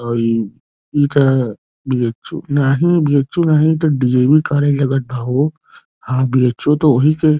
अइ इ का है बीएचू नाहीं बीएचू नाहीं ई तो डीऐवी कालेज लगत बा हो आ बीएचू तो ओही के --